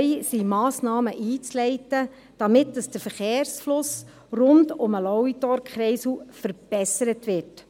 Es sind Massnahmen einzuleiten, damit der Verkehrsfluss rund um den Lauitorkreisel verbessert wird.